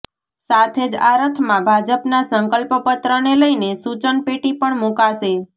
સાથે જ આ રથમાં ભાજપના સંકલ્પ પત્રને લઈને સૂચન પેટી પણ મુકાશે